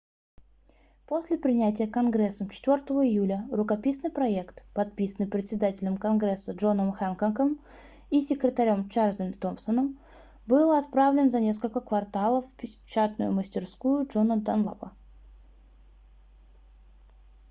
после принятия конгрессом 4 июля рукописный проект подписанный председателем конгресса джоном хэнкоком и секретарем чарльзом томсоном был отправлен за несколько кварталов в печатную мастерскую джона данлапа